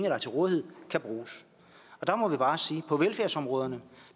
er til rådighed kan bruges og der må vi bare sige at på velfærdsområderne